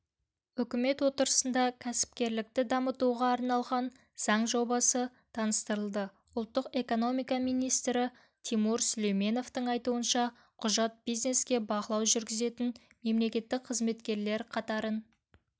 үкімет отырысында кәсіпкерлікті дамытуға арналған заң жобасы таныстырылды ұлттық экономика министрі тимур сүлейменовтың айтуынша құжат бизнеске бақылау жүргізетін мемлекеттік қызметкерлер қатарын